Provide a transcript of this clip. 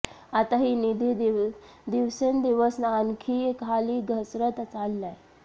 आता ही निधी दिवसेंदिवस आणखी खाली घसरत चाललाय